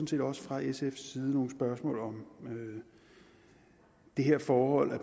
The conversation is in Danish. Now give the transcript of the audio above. set også fra sfs side nogle spørgsmål om det her forhold